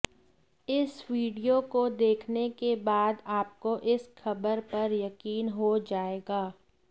इस वीडियो को देखने के बाद आपको इस खबर पर यकीन हो जाएगा